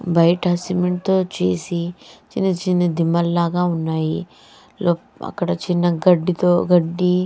బయట సిమెంట్ తో చేసి చిన్న చిన్న దిమ్మలాగా ఉన్నాయి అక్కడ చిన్న గడ్డి తో గడ్డి --